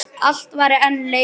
Allt var enn leikur.